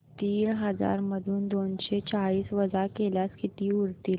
तीन हजार मधून दोनशे चाळीस वजा केल्यास किती उरतील